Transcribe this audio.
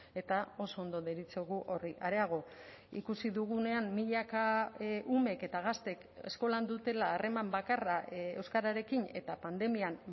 eta oso ondo deritzogu horri areago ikusi dugunean milaka umek eta gaztek eskolan dutela harreman bakarra euskararekin eta pandemian